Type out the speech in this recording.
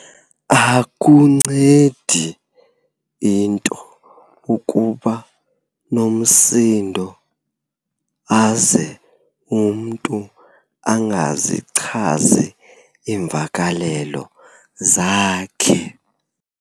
Akuncedi into ukuba nomsindo aze umntu angazichazi iimvakalelo zakhe.